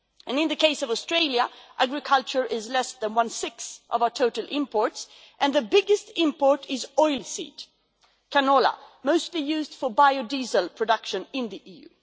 In the case of Australia, agriculture is less than one-sixth of our total imports, and the biggest import is oilseed canola mostly used for biodiesel production in the EU.